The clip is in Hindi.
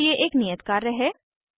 यहाँ आपके लिए एक नियत कार्य है